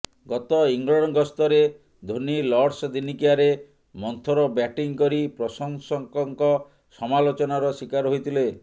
ଗତ ଇଂଲଣ୍ଡ ଗସ୍ତରେ ଧୋନି ଲର୍ଡସ ଦିନିକିଆରେ ମନ୍ଥର ବ୍ୟାଟିଂ କରି ପ୍ରଶଂସକଙ୍କ ସମାଲୋଚନାର ଶିକାର ହୋଇଥିଲେ